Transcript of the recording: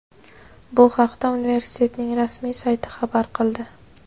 Bu haqda universitetning rasmiy sayti xabar qildi.